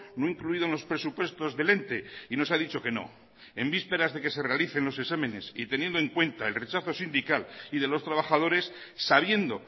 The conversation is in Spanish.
no incluido en los presupuestos del ente y nos ha dicho que no en vísperas de que se realicen los exámenes y teniendo en cuenta el rechazo sindical y de los trabajadores sabiendo